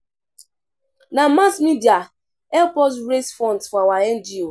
Na mass media help us raise funds for our NGO.